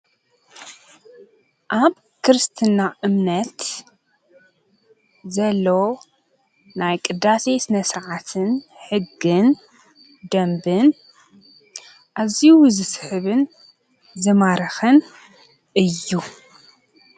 ኣብ ክርስትና እምነት ዘሎ ናይ ቕዳሰ ስነ ስረዓት ሕግን ደምብን እዚይ ዝስሕብን ዘማረኸን እዩ::